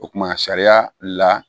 O kumana sariya la